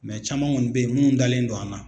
caman kɔni bɛ ye minnu dalen do an na.